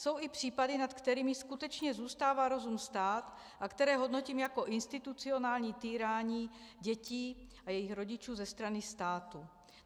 Jsou i případy, nad kterými skutečně zůstává rozum stát a které hodnotím jako institucionální týrání dětí a jejich rodičů ze strany státu.